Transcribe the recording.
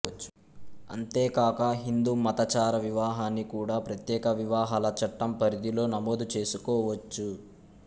అంతేకాక హిందూ మతాచార వివాహాన్ని కూడా ప్రత్యేక వివాహాల చట్టం పరిధిలో నమోదు చేసుకోవచ్చు